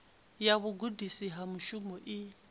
ya vhugudisi ha mushumo i